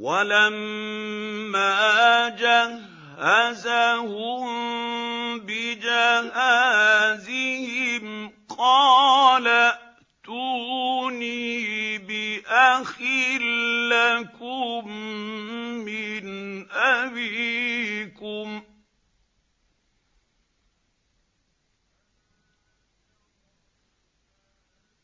وَلَمَّا جَهَّزَهُم بِجَهَازِهِمْ قَالَ ائْتُونِي بِأَخٍ لَّكُم مِّنْ أَبِيكُمْ ۚ